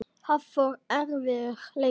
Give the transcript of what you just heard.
Hafþór: Erfiður leikur?